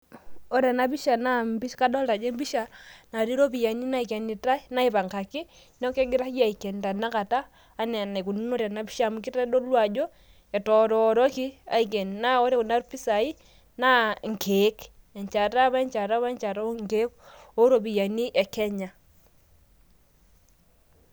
ore ena pisha naa kadolta naa kadolta ajo episha natii iropiyiani naipangaki neeku kegirai aiken tenakata enaa enaikununo tenapisha amu kitodolu ajo etororoki aiken, naa ore kuna pisai naa inkeek ,enchata we enchata inkeek oo iropiyiani ekenya.